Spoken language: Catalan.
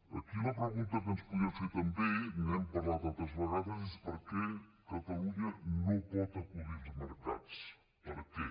aquí la pregunta que ens podríem fer també n’hem parlat altres vegades és per què catalunya no pot acudir als mercats per què